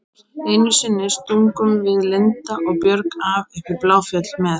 Einu sinni stungum við Linda og Björg af upp í Bláfjöll með